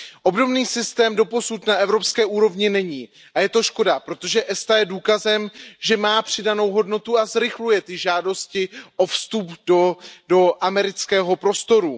Obdobný systém doposud na evropské úrovni není a je to škoda, protože ESTA je důkazem, že má přidanou hodnotu a zrychluje ty žádosti o vstup do amerického prostoru.